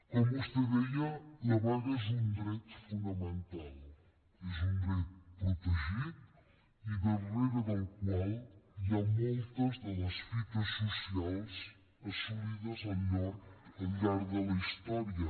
com vostè deia la vaga és un dret fonamental és un dret protegit i darrere del qual hi ha moltes de les fites socials assolides al llarg de la història